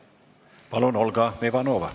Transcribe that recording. Palun, Olga Ivanova!